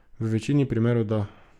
V večini primerov da.